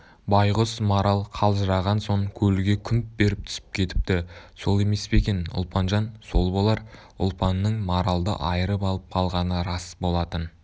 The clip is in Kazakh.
байғұс марал қалжыраған соң көлге күмп беріп түсіп кетіпті сол емес пе екен ұлпанжан сол болар ұлпанның маралды айырып алып қалғаны рас болатын